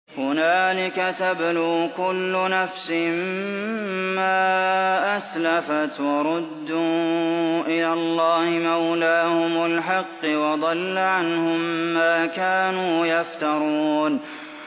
هُنَالِكَ تَبْلُو كُلُّ نَفْسٍ مَّا أَسْلَفَتْ ۚ وَرُدُّوا إِلَى اللَّهِ مَوْلَاهُمُ الْحَقِّ ۖ وَضَلَّ عَنْهُم مَّا كَانُوا يَفْتَرُونَ